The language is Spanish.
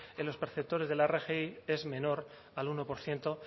en los perceptores de la rgi es menor al uno por ciento